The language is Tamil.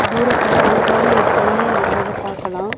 தூரத்துல அழகான ஒரு தண்ணீர் விர்றத பாக்கலா.